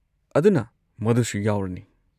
ꯑꯗꯨꯅ ꯃꯗꯨꯁꯨ ꯌꯥꯎꯔꯅꯤ꯫